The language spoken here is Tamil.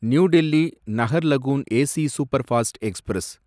new Delhi Naharlagun AC superfast express